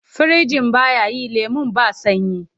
Firinjin ba ya yi lemon ba sanyi.